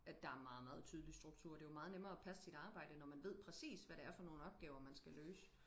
at der er meget meget tydelig struktur det er jo meget nemmere og passe sit arbejde når man ved præcis hvad det er for nogle opgaver man skal løse